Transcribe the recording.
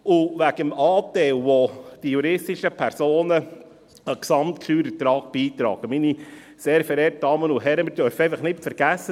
Wegen des Anteils, den die juristischen Personen zum Gesamtsteuerertrag beitragen: Meine sehr verehrten Damen und Herren, wir dürfen einfach nicht vergessen: